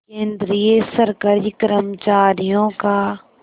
केंद्रीय सरकारी कर्मचारियों का